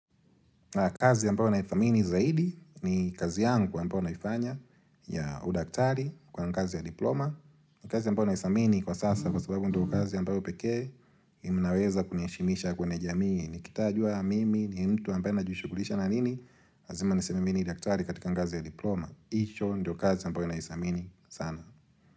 Kazi ambayo naithamini zaidi ni kazi yangu ambayo naifanya ya udaktari kuwa ni kazi ya diploma. Kazi ambayo naithamini kwa sasa kwa sababu ndio kazi ambayo pekee inaweza kuniheshimisha kwenye jamii. Nikitajua mimi ni mtu ambaye najushughulisha na nini lazima niseme mi ni daktari katika ngazi ya diploma. Hicho ndio kazi ambayo naithamini sana.